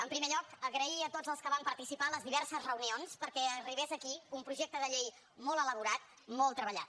en primer lloc donar les gràcies a tots els que van participar a les diverses reunions perquè arribés aquí un projecte de llei molt elaborat molt treballat